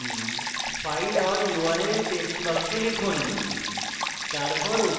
file name file or url text box লিখুন